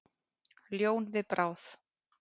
Ljón við bráð.